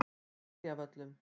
Seljavöllum